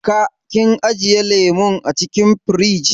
Ka / kin ajiye lemun acikin firij?